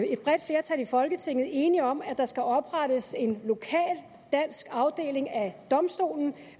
et bredt flertal i folketinget enige om at der skal oprettes en lokal dansk afdeling af domstolen